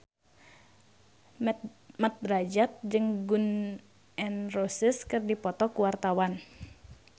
Mat Drajat jeung Gun N Roses keur dipoto ku wartawan